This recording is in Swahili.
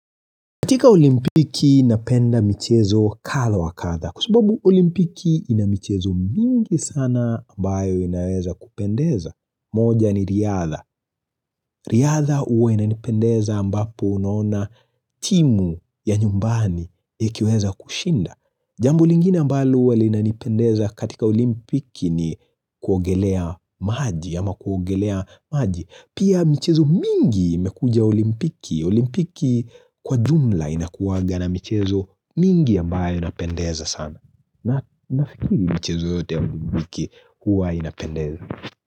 Katika olimpiki napenda michezo kadha wa kadha kwasababu olimpiki ina michezo mingi sana ambayo inaweza kupendeza. Moja ni riadha. Riadha huwa inanipendeza ambapo unaona timu ya nyumbani ikiweza kushinda. Jambo lingine ambalo huwa linanipendeza katika olimpiki ni kuogelea maji ama kuogelea maji. Pia michezo mingi imekuja olimpiki, olimpiki kwa jumla inakuwanga na michezo mingi ambayo inapendeza sana. Nafikiri michezo yote ya olimpiki huwa inapendeza.